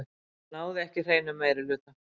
Náði ekki hreinum meirihluta